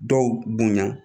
Dɔw bonya